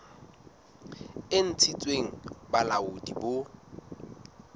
e ntshitsweng ke bolaodi bo